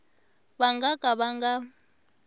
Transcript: va nga ka va nga